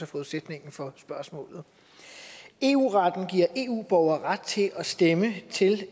forudsætningen for spørgsmålet eu retten giver eu borgere ret til at stemme til